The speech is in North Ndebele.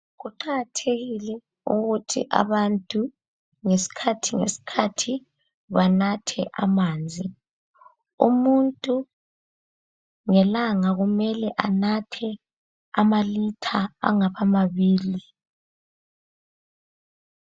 Kuqakathekile ukuthi abantu ngesikhathi ngesikhathi banathe amanzi. Umuntu ngelanga kumele anathe amalitha angaba mabili.